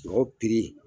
Sogo